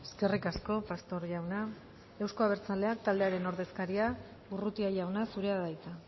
eskerrik asko pastor jauna euzko abertzaleak taldearen ordezkaria urrutia jauna zurea da hitza